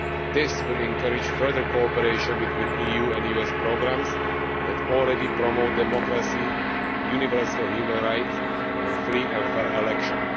This will encourage further cooperation between EU and US programmes that already promote democracy, universal human rights and free and fair elections.